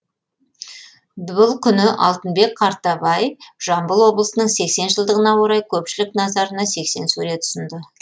бұл күні алтынбек қартабай жамбыл облысының сексен жылдығына орай көпшілік назарына сексен сурет ұсынды